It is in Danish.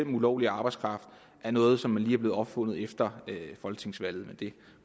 ulovlig arbejdskraft er noget som lige er blevet opfundet efter folketingsvalget men det